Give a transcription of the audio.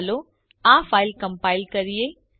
ચાલો આ file compile કરીએ